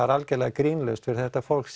er algerlega grínlaust fyrir þetta fólk